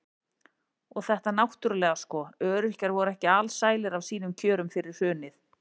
Og þetta náttúrulega sko, öryrkjar voru ekki alsælir af sínum kjörum fyrir hrunið.